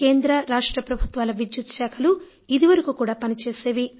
కేంద్ర రాష్ట్ర ప్రభుత్వాల విద్యుత్ శాఖలు ఇది వరకు కూడా పని చేసేవి